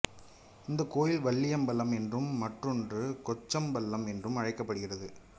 இந்த கோயில் வல்லியம்பலம் என்றும் மற்றொன்று கொச்சம்பலம் என்று அழைக்கப்படுகிறது